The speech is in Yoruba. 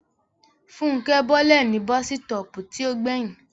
Fúnkẹ́ bọ́lẹ̀ ní bọ́sítọ̀ọ̀pù tí ó gbẹ̀yìn